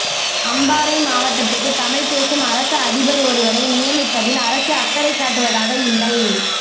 அம்பாறை மாவட்டத்துக்கு தமிழ்பேசும் அரச அதிபர் ஒருவரை நியமிப்பதில் அரசு அக்கறைகாட்டுவதாக இல்லை